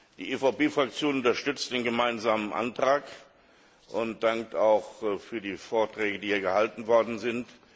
Die EVP Fraktion unterstützt den gemeinsamen Antrag und dankt auch für die Vorträge, die hier gehalten worden sind.